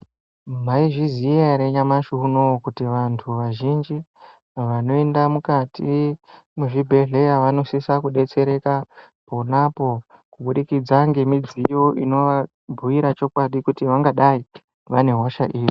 Maizviziva ere nyamashi unowu kuti vantu vazhinji vanoenda mukati muzvibhedhleya vanosisa kudetsereka ponapo kubudikidza ngemidziyo inova bhuyira chokwadi kuti vangadai vane hosha iri.